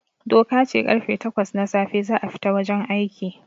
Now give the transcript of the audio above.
Doka ce karfe takwas na safe za a fita wajen aiki